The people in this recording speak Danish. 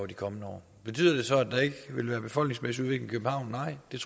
de kommende år betyder det så at der ikke vil være befolkningsmæssige udvikling i københavn nej det